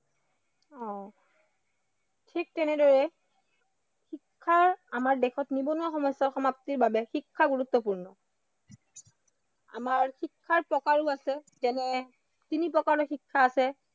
অ, ঠিক তেনেদৰে শিক্ষা আমাৰ দেশত নিবনুৱা সমস্য়াৰ সমাপ্তিৰ বাবে শিক্ষা গুৰুত্বপূৰ্ণ। আমাৰ শিক্ষাৰ প্ৰকাৰো আছে যেনে তিনি প্ৰকাৰৰ শিক্ষা আছে